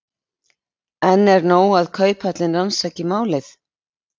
En er nóg að Kauphöllin rannsaki málið?